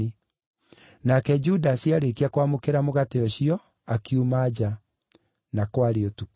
Nake Judasi aarĩkia kwamũkĩra mũgate ũcio, akiuma nja. Na kwarĩ ũtukũ.